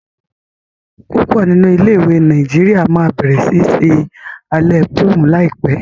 púpò nínú ilé ìwé Nàìjíríà má bẹrẹ sí ṣe Alẹ́ prom láìpé.